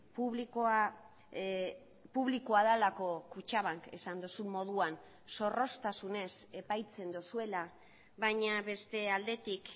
publikoa publikoa delako kutxabank esan duzun moduan zorroztasunez epaitzen duzuela baina beste aldetik